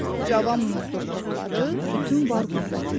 Cavan muzdur topladı bütün var qüvvətini.